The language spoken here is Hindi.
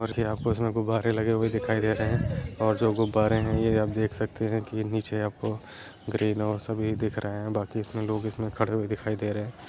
और यहाँ पर इसमें गुब्बारे लगे हुए दिखाई दे रहे हैं और जो गुब्बारे हैं ये आप देख सकते हैं कि नीचे आपको ग्रीन और सभी दिख रहें हैं बाकी इसमें लोग इसमें खड़े हुए दिखाई दे रहें हैं।